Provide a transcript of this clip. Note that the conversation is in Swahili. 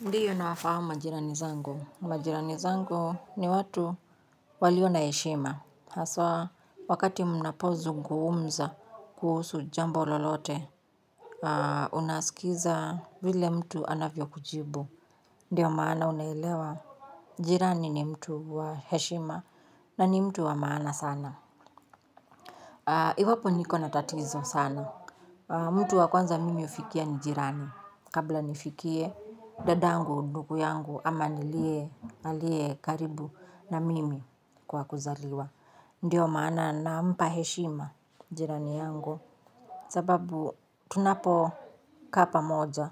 Ndiyo nawafahamu majirani zangu, majirani zangu ni watu walio na heshima, haswa wakati mnapozungumza kuhusu jambo lolote. Haa unasikiza vile mtu anavyo kujibu ndiyo maana unaelewa jirani ni mtu wa heshima na ni mtu wa maana sana, iwapo niko na tatizo sana mtu wa kwanza mimi hufikia ni jirani kabla nifikie dadangu ndugu yangu ama nilie alie karibu na mimi kwa kuzaliwa ndiyo maana nampa heshima jirani yangu sababu tunapo kaa pamoja